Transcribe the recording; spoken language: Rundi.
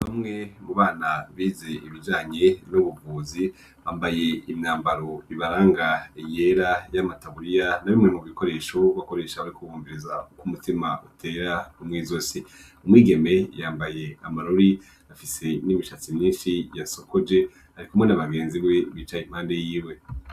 Bamwe mu bana bize ibijanye n'ubuvuzi ambaye imyambaro ibaranga eyera y'amataburiya na bimwe mu gikoresha wko akoresha barikoubumbiriza uko umutima utera umwe zosi umwigeme yambaye amarori afise n'imishatsi myinshi yasokoje, ariko umwo niabagenzi be bicaye impande yiwe.